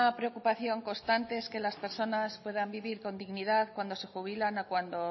preocupación constante es que las personas puedan vivir con dignidad cuando se jubilan o cuando